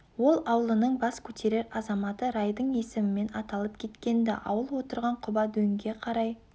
ол аулының бас көтерер азаматы райдың есімімен аталып кеткен-ді ауыл отырған құба дөңге қарай